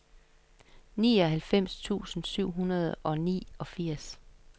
nioghalvfems tusind syv hundrede og niogfirs